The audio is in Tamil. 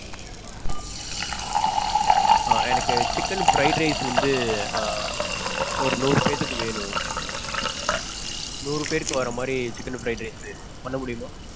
எனக்கு chicken fried rice வந்து ஆஹ் ஒரு நூறு பேத்துக்கு வேணும். நூறு பேர்க்கு வர மாதிரி chicken fried rice பண்ண முடியுமா?